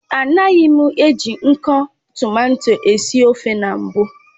Anagim eji nko tomato esi ofe na mbu